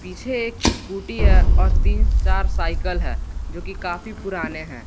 पीछे एक स्कूटी है और तीन चार साइकल है जो की काफी पुराने हैं।